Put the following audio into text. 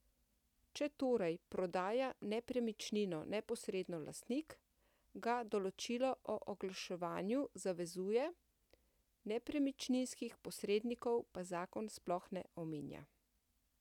Če torej prodaja nepremičnino neposredno lastnik, ga določilo o oglaševanju zavezuje, nepremičninskih posrednikov pa zakon sploh ne omenja.